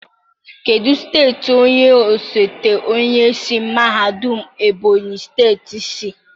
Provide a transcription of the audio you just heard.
Kedu steeti onye osote onye isi mahadum Ebonyi steeti si?